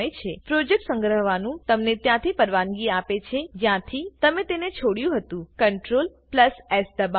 project સંગ્રહવાનું તમને ત્યાંથી પરવાનગી આપે છે જ્યાંથી તમે તેને છોડિયું હતુંCTRL એસ દબાવો